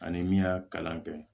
Ani min y'a kalan kɛ